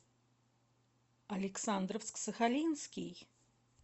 александровск сахалинский